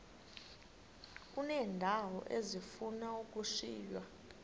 uneendawo ezifuna ukushiywa